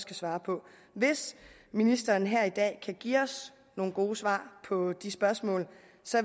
kan svare på hvis ministeren her i dag kan give os nogle gode svar på de spørgsmål